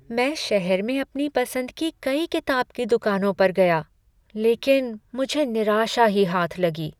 मैं शहर में अपनी पसंद की कई किताब की दुकानों पर गया लेकिन मुझे निराशा ही हाथ लगी।